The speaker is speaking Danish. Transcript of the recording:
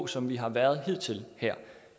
som vi har været hidtil her